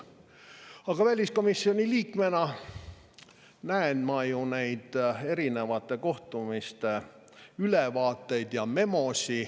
Aga väliskomisjoni liikmena näen ma ju neid erinevate kohtumiste ülevaateid ja memosid.